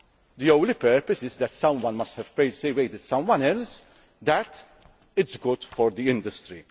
The only purpose is that someone must have persuaded someone else that it is good for the industry.